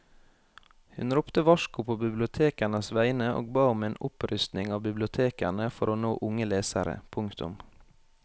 Hun ropte varsko på bibliotekenes vegne og ba om en opprustning av bibliotekene for å nå unge lesere. punktum